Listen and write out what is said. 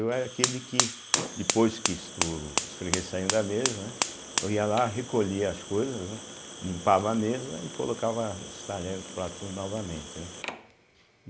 Eu era aquele que, depois que so os fregueses saíam da mesa, né, eu ia lá, recolhia as coisas, né, limpava a mesa e colocava os talheres, os pratos novamente, né.